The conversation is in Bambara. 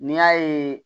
N'i y'a ye